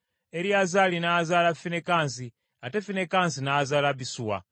Eriyazaali n’azaala Finekaasi, ate Finekaasi n’azaala Abisuwa;